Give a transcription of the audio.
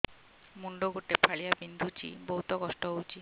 ମୁଣ୍ଡ ଗୋଟେ ଫାଳିଆ ବିନ୍ଧୁଚି ବହୁତ କଷ୍ଟ ହଉଚି